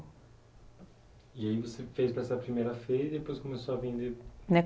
E aí você fez essa primeira feira e depois começou a vender?